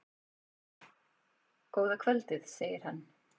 Góða kvöldið, segir hann.